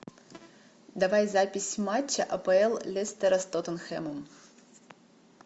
давай запись матча апл лестера с тоттенхэмом